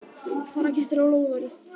Fara kettir á lóðarí?